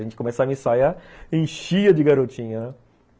A gente começava a ensaiar, enchia de garotinha, né?